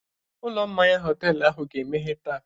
Ụlọ mmanya họtelu ahụ ga-emeghe taa.